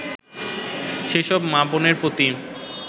সেসব মা-বোনের প্রতি